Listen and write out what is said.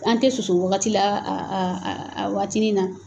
An tɛ soso wagati la a a a a waatini na.